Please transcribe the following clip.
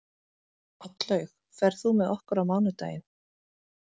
Oddlaug, ferð þú með okkur á mánudaginn?